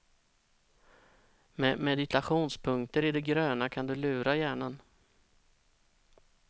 Med meditationspunkter i det gröna kan du lura hjärnan.